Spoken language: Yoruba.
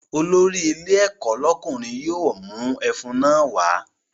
Olórí ilé ẹ̀kọ́ lọ́kùnrin yóò mú ẹfun náà wá